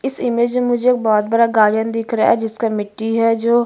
इस इमेज में मुझे एक बहोत बड़ा गार्डन दिख रहा है जिसका मिट्टी है जो--